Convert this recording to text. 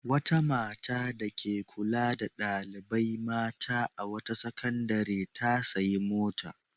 Wata mata dake kula da ɗalibai mata a wata sakandare ta sayi mota.